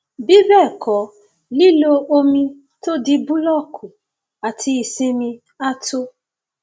bí bẹẹ kọ lílo omi tó di búlọọkù àti ìsinmi á tó